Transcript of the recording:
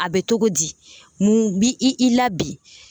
A bɛ togo di mun bi i i la bi?